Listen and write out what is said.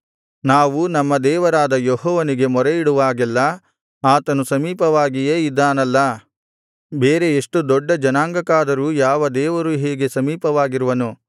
ನಾವು ನಮ್ಮ ದೇವರಾದ ಯೆಹೋವನಿಗೆ ಮೊರೆಯಿಡುವಾಗೆಲ್ಲಾ ಆತನು ಸಮೀಪವಾಗಿಯೇ ಇದ್ದಾನಲ್ಲಾ ಬೇರೆ ಎಷ್ಟು ದೊಡ್ಡ ಜನಾಂಗಕ್ಕಾದರೂ ಯಾವ ದೇವರು ಹೀಗೆ ಸಮೀಪವಾಗಿರುವನು